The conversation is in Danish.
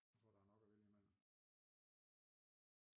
Jeg tror der nok at vælge imellem